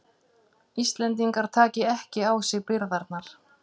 Íslendingar taki ekki á sig byrðarnar